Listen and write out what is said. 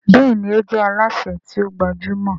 Béèni o jé Alásè ti o gbajúmò.